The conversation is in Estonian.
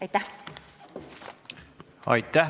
Aitäh!